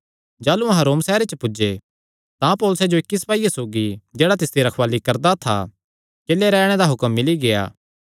जाह़लू अहां रोम सैहरे च पुज्जे तां पौलुसैं जो इक्की सपाईये सौगी जेह्ड़ा तिसदी रखवाल़ी करदा था किल्ले रैहणे दा हुक्म मिल्ली गेआ